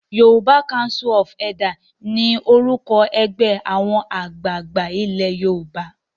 YCE ni orúkọ ẹgbẹ́ àwọn àgbààgbà ilé Yorùbá.